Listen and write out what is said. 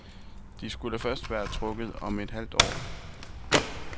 De skulle først være trukket om et halvt år.